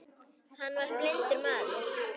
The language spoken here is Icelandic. Hann var blindur maður.